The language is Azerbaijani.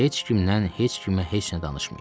Heç kimdən heç kimə heç nə danışmayın.